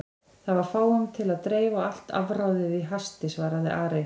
Það var fáum til að dreifa og allt afráðið í hasti, svaraði Ari.